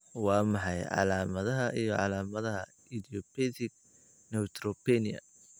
Waa maxay calaamadaha iyo calaamadaha Idiopathic neutropenia?